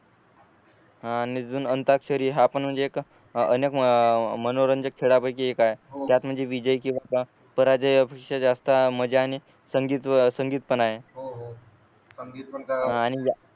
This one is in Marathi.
आ अजून अंताक्षरी हा पण म्हणजे एक अनेक मनोरंजक खेळापैकी एक आहे त्यात म्हणजे विजय किंवा पराजय जास्त मजा आणि संगीत पण संगीत पण आहे